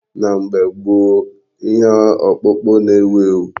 Na mgbe gboo ka ihe ọkpụkpụ na-ewu ewu.